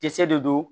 Kisɛ de don